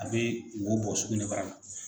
A bɛ mɔgɔw bugɔ sugunɛbara la.